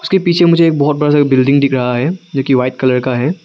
उसके पीछे मुझे एक बहुत बड़ा सा बिल्डिंग दिख रहा है जोकि व्हाइट कलर का है।